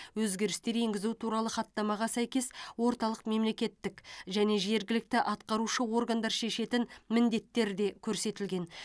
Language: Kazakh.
өзгерістер енгізу туралы хаттамаға сәйкес орталық мемлекеттік және жергілікті атқарушы органдар шешетін міндеттер де көрсетілген